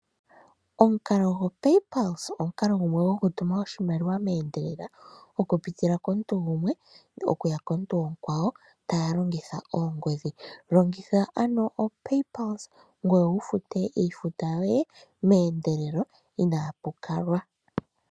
Omukalo go paypulse omukalo gumwe gokutuma oshimaliwa meendelelo okuza komuntu gumwe okuya komuntu omukwawo taya longitha oongodhi. Longitha ano o paypulse ngoye wufute iifuta yoye meendelelo inaapakalwa.